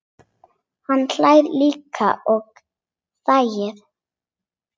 Hann hlær líka og þakkar.